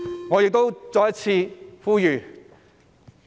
我亦再次作出呼籲。